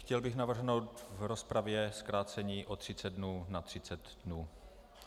Chtěl bych navrhnout v rozpravě zkrácení o 30 dnů na 30 dnů.